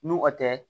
N'u a tɛ